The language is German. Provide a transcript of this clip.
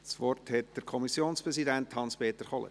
Das Wort hat der Kommissionspräsident Hans-Peter Kohler.